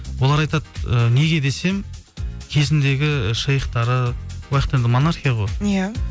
олар айтады ы неге десем кезіндегі шейхтары ояқта енді монархия ғой иә